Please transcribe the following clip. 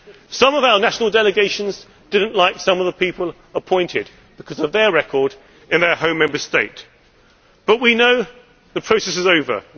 we. Some of our national delegations did not like some of the people appointed because of their record in their home Member State, but we know that the process is